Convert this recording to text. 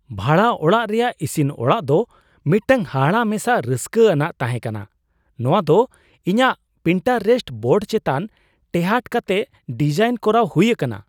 ᱵᱷᱟᱲᱟ ᱚᱲᱟᱜ ᱨᱮᱭᱟᱜ ᱤᱥᱤᱱ ᱚᱲᱟᱜ ᱫᱚ ᱢᱤᱫᱴᱟᱝ ᱦᱟᱦᱟᱲᱟ ᱢᱮᱥᱟ ᱨᱟᱹᱥᱠᱟᱹᱼ ᱟᱱᱟᱜ ᱛᱟᱦᱮᱸ ᱠᱟᱱᱟ ᱼ ᱱᱚᱶᱟ ᱫᱚ ᱤᱧᱟᱹᱜ ᱯᱤᱱᱴᱟᱨᱮᱥᱴ ᱵᱳᱨᱰ ᱪᱮᱛᱟᱱ ᱴᱮᱦᱟᱴ ᱠᱟᱛᱮ ᱰᱤᱡᱟᱭᱤᱱ ᱠᱚᱨᱟᱣ ᱦᱩᱭ ᱟᱠᱟᱱᱟ !"᱾